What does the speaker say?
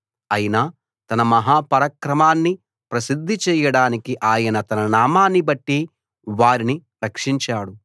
అయినా తన మహా పరాక్రమాన్ని ప్రసిద్ధి చేయడానికి ఆయన తన నామాన్నిబట్టి వారిని రక్షించాడు